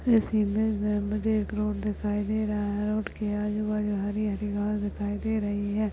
ये सीनरी में मुझे एक रोड दिखाई दे रहा है रोड के आजु बाजु हरी हरी घास दिखाई दे रही है।